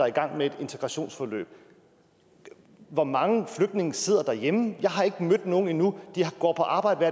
i gang med et integrationsforløb hvor mange flygtninge sidder derhjemme jeg har ikke mødt nogen endnu de går på arbejde